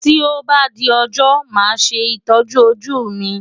Tí ó bá di ọjọ́ màá ṣe ìtọ́jú ojú mi.